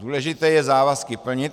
Důležité je závazky plnit.